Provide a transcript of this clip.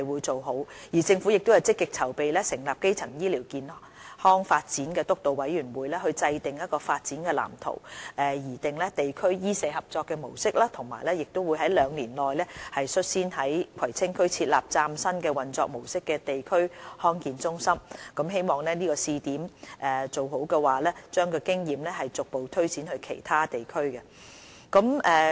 政府亦正積極籌備成立基層醫療發展督導委員會，以制訂發展藍圖、擬訂地區醫社合作的模式，以及在兩年內率先於葵青區設立以嶄新模式運作的地區康健中心，希望做好試點，將經驗逐步推展至其他地區。